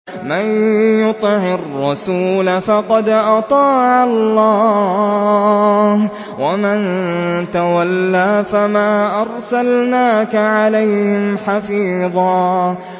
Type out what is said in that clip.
مَّن يُطِعِ الرَّسُولَ فَقَدْ أَطَاعَ اللَّهَ ۖ وَمَن تَوَلَّىٰ فَمَا أَرْسَلْنَاكَ عَلَيْهِمْ حَفِيظًا